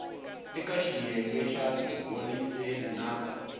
eka xiyenge xa tiholiseli na